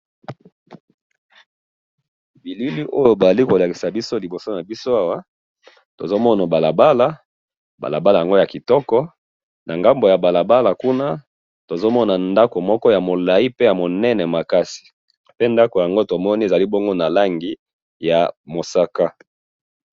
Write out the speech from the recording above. bilili oyo bazali kolakisa biso liboso nabiso awa tozomona balabala balabala yango ya kitoko na ngambo ya balabala kuna tozomona ndako moko ya molayi pe ya munene makasi pe ndako yango tomoni ezali bongo na langi ya mosaka